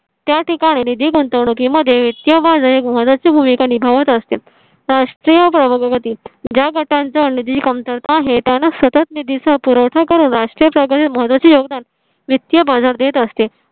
त्या ठिकाणी निधी गुंतवणुकीमध्ये वित्तीय बाजार एक महत्वाची भूमिका निभावत असते राष्ट्रीय प्रभागातील ज्या गटांचा निधी कमतरता आहे, त्यांना सतत निधीचा पुरवठा करून राष्ट्रीयप्रकारे मदत योगदान वित्तीय बाजार देत असते